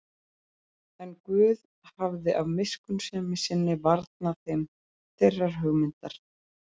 En Guð hafði af miskunnsemi sinni varnað þeim þeirrar hugmyndar.